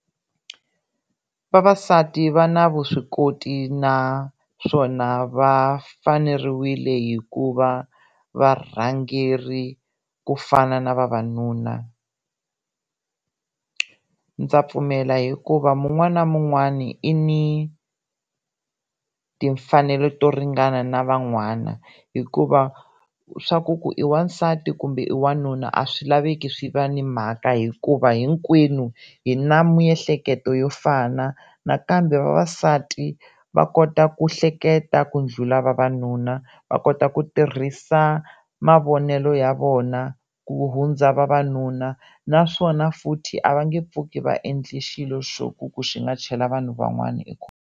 Vavasati va na vuswikoti naswona va faneriwile hi ku va varhangeri ku fana na vavanuna, ndza pfumela hikuva mun'wani na mun'wani i ni timfanelo to ringana na van'wana hikuva swa ku ku i wansati kumbe i wanuna a swi laveki swi va ni mhaka hikuva hinkwenu hi na miehleketo yo fana nakambe vavasati va kota ku hleketa ku ndlhula vavanuna va kota ku tirhisa mavonelo ya vona ku hundza vavanuna naswona futhi a va nge pfuki va endli xilo xa ku xi nga chela vanhu van'wana .